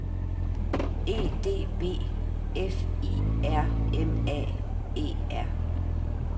E D B F I R M A E R